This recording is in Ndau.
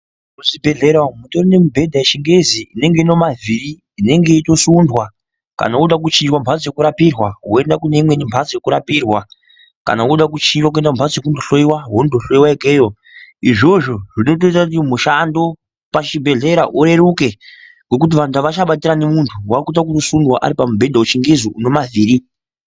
Muzvibhehlera umwu mutori mibhedha yechingezi inenge inemavhiri inenge yeitosundwa kana woda kuchinjwa mhatso yekurapirwa woenda kuneimweni mhatso yekurapirwa kana woda kuchinjwa mhatso yekohloyiwa wondohloyiwa ikweyo, izvozvo zvoita kuti mushando pachibhehleya ureruke ngokuti vanhu avachabatirani muntu waakuite wekusunda aripamubedha wechingezi unemavhiri.